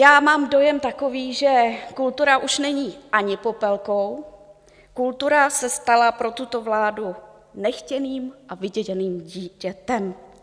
Já mám dojem takový, že kultura už není ani Popelkou, kultura se stala pro tuto vládu nechtěným a vyděděným dítětem.